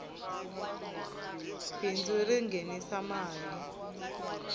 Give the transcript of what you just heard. bindzu ri nghenisa mali